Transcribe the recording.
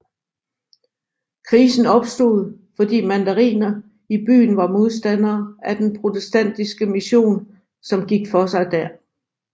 Krisen opstod fordi mandariner i byen var modstandere af den protestantiske mision som gik for sig der